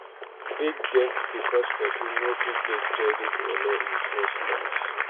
Big debt because person no fit get credit or low interest loans